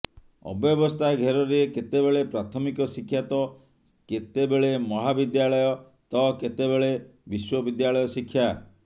ଅବ୍ୟବସ୍ଥା ଘେରରେ କେତେବେଳେ ପ୍ରାଥମିକ ଶିକ୍ଷା ତ କେତେ ବେଳେ ମହାବିଦ୍ୟାଳୟ ତ କେତେବେଳେ ବିଶ୍ୱବିଦ୍ୟାଳୟ ଶିକ୍ଷା